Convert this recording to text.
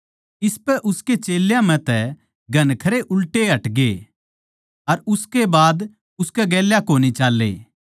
इसपै उसकै चेल्यां म्ह तै घणखरे उल्टे हटगे अर उसकै बाद उसकै गेल्या कोनी चाल्ले